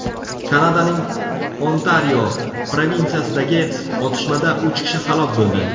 Kanadaning Ontario provinsiyasidagi otishmada uch kishi halok bo‘ldi.